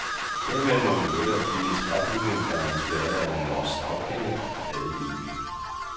Dermed må den lette og fine træbygning, der er inspireret af en norsk stavkirke, lade livet.